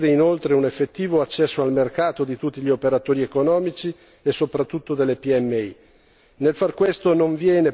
La nuova disciplina permetterà di garantire, inoltre, un effettivo accesso al mercato di tutti gli operatori economici e soprattutto delle PMI.